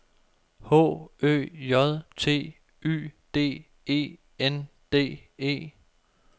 H Ø J T Y D E N D E